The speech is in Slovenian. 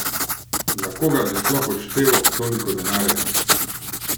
Za koga bi sploh odštel toliko denarja?